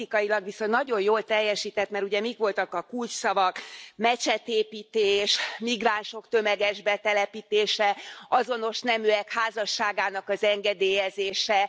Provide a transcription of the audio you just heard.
Politikailag viszont nagyon jól teljesített, mert ugye mik voltak a kulcsszavak mecsetépítés, migránsok tömeges betelepítése, azonos neműek házasságának az engedélyezése...